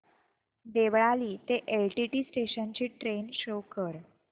देवळाली ते LTT station ची train show कर